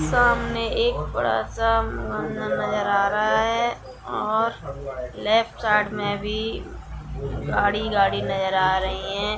सामने एक बडा सा उम्न-उम् नज़र आ रहा है और लेफ्ट साइड मे भ गाड़ी -गाड़ी नजर आ रही हे